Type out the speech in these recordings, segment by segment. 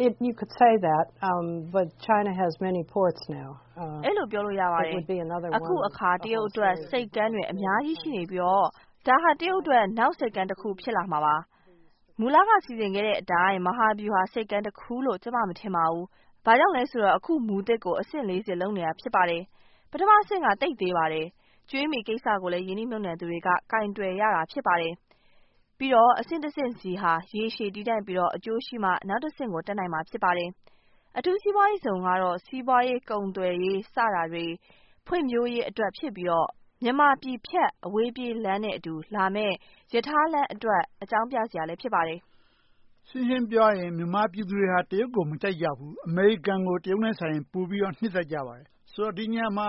အဲဒီလိုပြောလို့ ရပါတယ်။ အခုအခါ တရုတ်အတွက် ဆိပ်ကမ်းတွေ အများကြီးရှိနေပြီတော့ ဒါဟာ တရုတ်အတွက် နောက်ဆိပ်ကမ်းတခု ဖြစ်လာမှာပါ။ မူလက စီစဉ်ခဲ့တဲ့အတိုင်း မဟာဗျူဟာဆိပ်ကမ်းတခုလို့ ကျမ မထင်ပါဘူး။ ဘာကြောင့်လဲဆိုတော့ အခုမူသစ်ကို အဆင့် ဆင့်နဲ့ လုပ်နေတာ ဖြစ်ပါတယ်။ ပထမအဆင့်က သိပ်သေးပါတယ်။ ကြွေးမြီးကိစ္စကိုလည်း ရင်းနှီးမြုပ်နံှသူတွေက ကိုင်တွယ်ရတာ ဖြစ်ပါတယ်။ ပြီးတော့ အဆင့်တဆင့်ဆီဟာ ရေရှည်တည်တန့်ပြီးမှ အကျိုးရှိမှ နောက်တဆင့်ကို တက်နိုင်မှာ ဖြစ်ပါတယ်။ အထူးစီးပွားရေးဇုန်ကတော့ စီးပွားရေး၊ ကုန်သွယ်ရေး စတာတွေ ဖွံ့ဖြိုးရေးအတွက် ဖြစ်ပြီးတော့ မြန်မာပြည်ဖြတ် အဝေးပြေးလမ်းနဲ့အတူလာမယ့် ရထားလမ်းအတွက် အကြောင်းပြစရာလည်း ဖြစ်ပါတယ်။ ရှင်းရှင်းပြောရရင် မြန်မာပြည်သူတွေဟာ တရုတ်ကို မကြိုက်ကြဘူး။ အမေရိကန်ကို တရုတ်ထက်စာရင် ပိုနှစ်သက်ကြပါတယ်။ ဆိုတော့ ဒီနေရာမှာ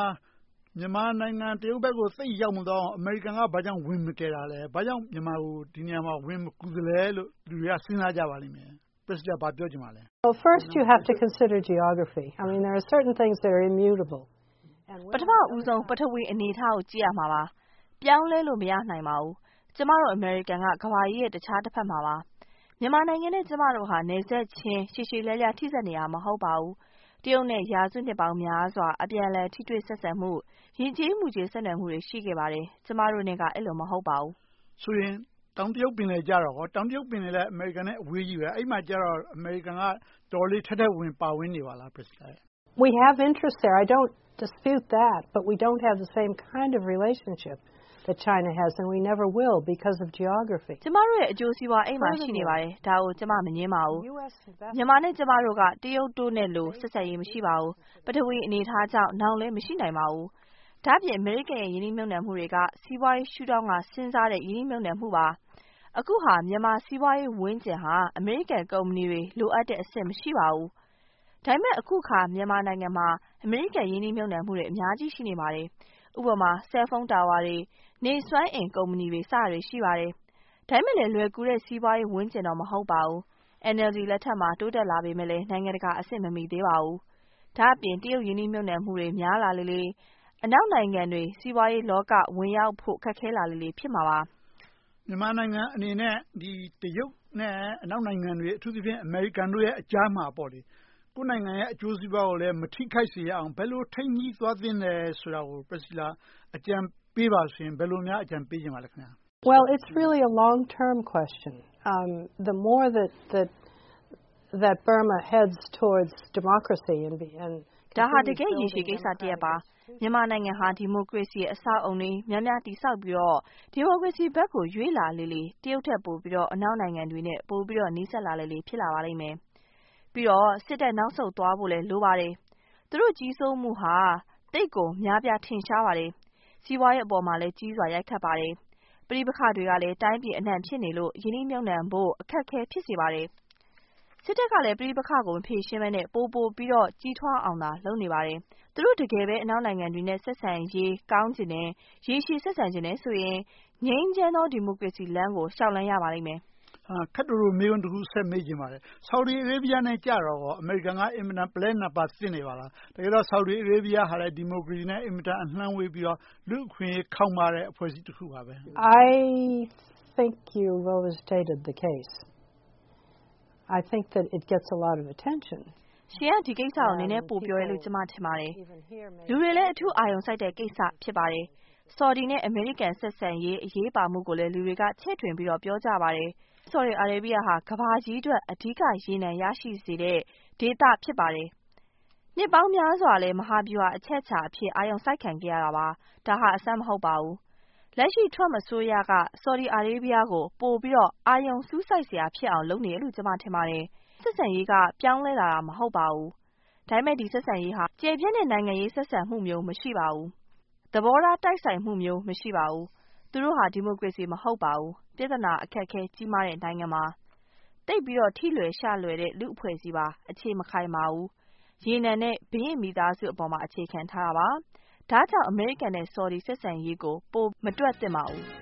မြန်မာနိုင်ငံ တရုတ်ဘက်ကို သိပ်ရောက်မသွားအောင် အမေရိကန်က ဘာကြောင့် ဝင်မကယ်တာလဲ။ ဘာကြောင့် ဒီနေရာမှာ မြန်မာကို ဝင်မကူသလဲလို့ လူတွေက စဉ်းစားကြပါလိမ့်မယ်။ ဘာပြောချင်ပါလဲ။ ပထမဦးဆုံး ပထဝီအနေအထားကို ကြည့်ရမှာပါ။ ပြောင်းလဲလို့ မရနိုင်ပါဘူး။ ကျမတို့ အမေရိကန်က ကမ္ဘာကြီးရဲ့ တခြားတဘက်မှာ ရှိနေတာပါ။ မြန်မာနိုင်ငံနဲ့ ကျမတို့ဟာ နယ်စပ်ချင်းရှည်ရှည်လျားလျား ထိဆက်နေတာ မဟုတ်ပါဘူး။ တရုတ်နဲ့ ရာစုနှစ်များစွာ အပြန်အလှန် ဆက်ဆံမှု၊ ယဉ်ကျေးမှုချင်း ဆက်နွှယ်မှုတွေ ရှိခဲ့ပါတယ်။ ကျမတို့နဲ့က အဲဒီလို မဟုတ်ပါဘူး။ ဆိုရင် တောင်တရုတ်ပင်လယ်ကြတော့ကော။ တောင်တရုတ်ပင်လယ်နဲ့ အမေရိကန်နဲ့ အဝေးကြီးပဲ။ အဲဒီမှာကြတော့ အမေရိကန်က တော်တော်လေး ထဲထဲဝင်ဝင် ပါဝင်နေပါလား။ ကျမတို့ အကျိုးစီးပွား အဲဒီမှာ ရှိနေပါတယ်။ ဒါကို ကျမ မငြင်းပါဘူး။ မြန်မာနဲ့ ကျမတို့က တရုတ်နဲ့လို ဆက်ဆံရေးမရှိပါဘူး။ ပထဝီအနေအထားကြောင့် နောင်လဲ မရှိနိုင်ပါဘူး။ ဒါ့အပြင် အမေရိကန်ရဲ့ ရင်းနှီးမြုပ်နံှမှုတွေက စီးပွားရေးရှုထောင့်ကနေ စဉ်းစားတဲ့ ရင်းနှီးမြုပ်နံှမှုပါ။ အခုဟာ မြန်မာစီးပွားရေးဝန်းကျင်ဟာ အမေရိကန်ကုမ္ပဏီတွေ လိုအပ်တဲ့အဆင့်မှာ မရှိပါဘူး။ ဒါပေမဲ့ အခုအခါ မြန်မာနိုင်ငံမှာ အမေရိကန်ရင်းနှီးမြုပ်နံှမှုတွေ အများကြီး ရှိလာနေပါတယ်။ ဥပမာ Cellphone towers တွေ၊ နေစွမ်းအင်ကုမ္ပဏီတွေ စတာတွေရှိပါတယ်။ ဒါပေမဲ့လဲ လွယ်ကူတဲ့စီးပွားရေးဝန်းကျင်တော့ မဟုတ်ပါဘူး။ NLD လက်ထက်မှာ တိုးတက်လာပေမယ့်လဲ နိုင်ငံတကာအဆင့် မမှီသေးပါဘူး။ ဒါ့အပြင် တရုတ်ရင်းနှီးမြုပ်နံှမှုတွေ များလာလေလေ၊ အနောက်နိုင်ငံတွေ စီးပွားရေးလောက ဝင်ရောက်ဖို့ ခက်ခဲလာလေလေ ဖြစ်မှာပါ။ မြန်မာနိုင်ငံအနေနဲ့ တရုတ်နဲ့ အနောက်နိုင်ငံတွေ အထူးသဖြင့် အမေရိကန်တို့အကြားမှာ ကိုယ့်နိုင်ငံရဲ့ အကျိုးစီးပွားကိုလည်း မထိခိုက်စေရအောင် ဘယ်လိုထိန်းညှိသွားသင့်သလဲဆိုတာကို အကြံပေးပါဆိုရင် ဘယ်လိုများ အကြံပေးချင်ပါလဲ။ ဒါဟာ တကယ့်ရေရှည်ကိစ္စတရပ်ပါ။ မြန်မာနိုင်ငံဟာ ဒီမိုကရေစီအဆောက်အအုံတွေ များများတည်ဆောက်ပြီးတော့ ဒီမိုကရေစီဘက်ကို ရွေ့လျားလေလေ တရုတ်ထက်ပိုပြီးတော့ အနောက်နိုင်ငံတွေနဲ့ ပိုပြီးတော့ နီးစပ်လာလေလေ ဖြစ်လာပါလိမ့်မယ်။ ပြီးတော့ စစ်တပ်နောက်ဆုံးသွားဖို့လည်း လိုပါတယ်။ သူတို့ကြီးစိုးမိုးဟာ သိပ်ကိုများပြားထင်ရှားပါတယ်။ စီးပွားရေးအပေါ်မှာလည်း ကြီးစွာရိုက်ခတ်ပါတယ်။ ပဋိပက္ခတွေကလည်း တိုင်းပြည်အနံှ ဖြစ်နေလို့ ရင်းနှီးမြုပ်နံှဖို့ အခက်အခဲ ဖြစ်စေပါတယ်။ စစ်တပ်ကလည်း ပဋိပက္ခကို မဖြေရှင်းဘဲနဲ့ ပိုပိုပြီးတော့ ကြီးထွားအောင်သာ လုပ်နေပါတယ်။ သူတို့ တကယ်ပဲ အနောက်နိုင်ငံတွေနဲ့ ဆက်ဆံရေးကောင်းချင်တယ်။ ရေရှည်ဆက်ဆံချင်တယ်ဆိုရင် ငြိမ်းချမ်းသောဒီမိုကရေစီလမ်းကို လျှောက်လှမ်းရပါလိမ့်မယ်။ ခပ်တိုတို မေးခွန်းတခု မေးချင်ပါတယ်။ ဆော်ဒီအာရေဗီယားနဲ့ အမေရိကန်က အင်မတန် ပုလဲနားပါးသင့်နေပါလား။ တကယ်တော့ ဆော်ဒီအာရေဗီယားကလည်း ဒီမိုကရေစီနဲ့ အင်မတန်အလှမ်းဝေးပြီးတော့ လူ့အခွင့်အရေးခေါင်းပါးတဲ့ လူ့အဖွဲ့အစည်းတခုပါ။ ရှင်က ဒီကိစ္စကို နည်းနည်းပိုပြောတယ်လို့ ကျမ ထင်ပါတယ်။ လူတွေလည်း အထူးအာရုံစိုက်တဲ့ကိစ္စ ဖြစ်ပါတယ်။ ဆော်ဒီနဲ့ အမေရိကန် ဆက်ဆံရေး အရေးပါမှုကို လူတွေက ချဲ့ထွင်ပြီးတော့ ပြောကြပါတယ်။ ဆော်ဒီအာရေဗီယားဟာ ကမ္ဘာကြီးအတွက် အဓိက ရေနံ ရရှိစေတဲ့ဒေသ ဖြစ်ပါတယ်။ နှစ်ပေါင်းများစွာလည်း မဟာဗျူဟာအချက်အခြာအဖြစ် အာရုံစိုက်ခံခဲ့ရတာပါ။ ဒါဟာ အဆန်းမဟုတ်ပါဘူး။ လက်ရှိ Trump အစိုးရက ဆော်ဒီအာရေဗီယားကို အာရုံပိုစူးစိုက်စရာ ဖြစ်နေအောင် လုပ်နေတယ်လို့ ကျမထင်ပါတယ်။ ဆက်ဆံရေးက ပြောင်းလဲလာတာ မဟုတ်ပါဘူး။ ဒါပေမဲ့ ဒီဆက်ဆံရေးဟာ ကျယ်ပြန့်တဲ့နိုင်ငံရေး ဆက်ဆံမှုမျိုး မရှိပါဘူး။ သဘောထားတိုက်ဆိုင်မှုမျိုး မရှိပါဘူး။ သူတို့ဟာ ဒီမိုကရေစီ မဟုတ်ပါဘူး။ ပြဿနာအခက်အခဲ ကြီးမားတဲ့ နိုင်ငံပါ။ သိပ်ပြီးတော့ ထိလွယ်ရှလွယ်တဲ့ လူ့အဖွဲ့အစည်းပါ။ အခြေမခိုင်ပါဘူး။ ရေနံနဲ့ ဘုရင့်မိသားစုအပေါ်မှာ အခြေခံထားတာပါ။ ဒါကြောင့် အမေရိကန်နဲ့ ဆော်ဒီ ဆက်ဆံရေးကို ပိုမတွက်သင့်ပါဘူး။